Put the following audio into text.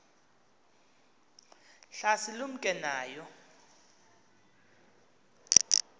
hlasi lumke nayo